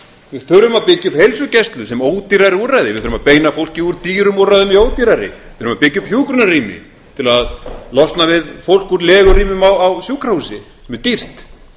við þurfum að byggja upp heilsugæslu sem ódýrari úrræði við þurfum að beina fólki úr dýrum úrræðum í ódýrari við þurfum að byggja upp hjúkrunarrými til að losna við fólk úr legurýmum á sjúkrahúsi sem er dýrt